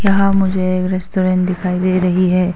यहां मुझे एक रेस्टोरेंट दिखाई दे रही है।